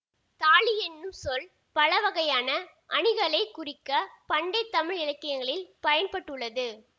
தாலி என்னும் சொல் பலவகையான அணிகளைக் குறிக்க பண்டை தமிழ் இலக்கியங்களில் பயன் பட்டுள்ளது